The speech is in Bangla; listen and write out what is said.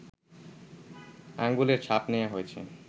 আঙ্গুলের ছাপ নেয়া হয়েছে